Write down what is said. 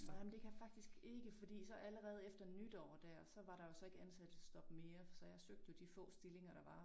Nej men det kan jeg faktisk ikke fordi så allerede efter nytår dér så var der jo så ikke ansættelsesstop mere for så jeg søgte jo de få stillinger der var